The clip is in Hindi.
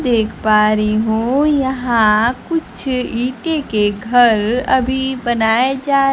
देख पा रही हूं यहां कुछ ईंटे के घर अभी बनाए जा--